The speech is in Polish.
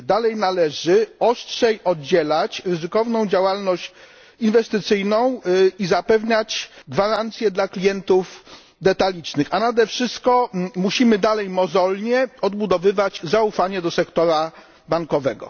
Dalej należy ostrzej oddzielać ryzykowną działalność inwestycyjną i zapewniać gwarancję dla klientów detalicznych, a nade wszystko musimy nadal mozolnie odbudowywać zaufanie do sektora bankowego.